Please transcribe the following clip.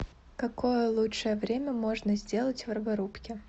какое лучшее время можно сделать в роборубке